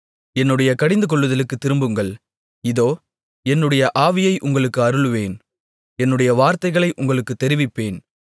என்னுடைய கடிந்துகொள்ளுதலுக்குத் திரும்புங்கள் இதோ என்னுடைய ஆவியை உங்களுக்கு அருளுவேன் என்னுடைய வார்த்தைகளை உங்களுக்குத் தெரிவிப்பேன்